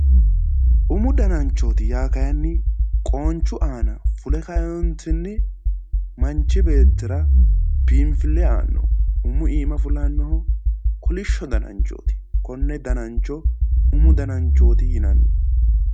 Umu dananchooti yaa kayinni qoonchu aana fule kaeentinni manchi beettira biinfille aannoho umu iima fulannoho kolishsho dananchooti. Konne danancho umu dananchooti yinanni.